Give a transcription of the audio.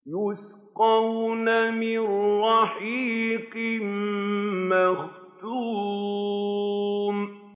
يُسْقَوْنَ مِن رَّحِيقٍ مَّخْتُومٍ